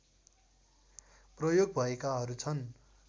प्रयोग भएकाहरू छन्